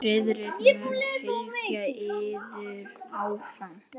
Friðrik mun fylgja yður áfram.